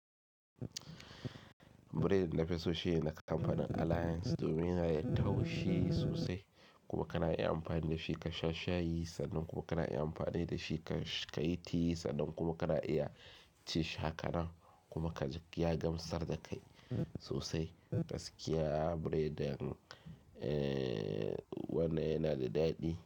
Bread na fi so shi na kamfanin Alliance domin ya taushe sosai kuma ka na iya amfani da shi ka sha shayi sannan kuma ka na iya amfani da shi ka yi tea sannan kuma ka na iya ci haka nan kuma kaji ya gamsar da kai sosai. Gaskiya bread wannan yana da daɗi.